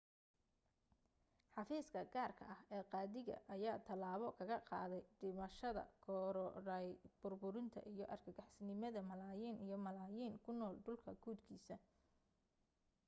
xafiiska gaarka ah ee qaadiga ayaa talaabo kaga qaaday dhimashada korodhay, burburinta iyo argagixisonimada malaayiin iyo malaayiin kunool dhulka guudkiisa.